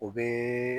O bɛ